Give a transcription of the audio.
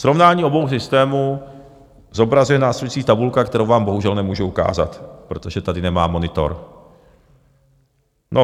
Srovnání obou systémů zobrazuje následující tabulka - kterou vám bohužel nemůžu ukázat, protože tady nemám monitor.